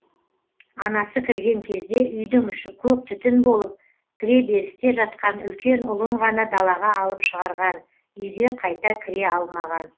анасы кірген кезде үйдің іші көк түтін болып кіреберісте жатқан үлкен ұлын ғана далаға алып шығарған үйге қайта кіре алмаған